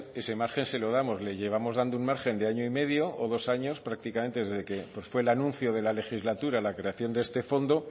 ese margen se lo damos le llevamos dando un margen de año y medio o dos años prácticamente desde que fue el anuncio de la legislatura la creación de este fondo